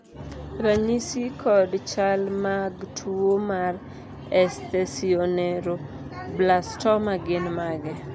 ranyisi kod chal mag tuo mar esthesioneuroblastoma gin mage?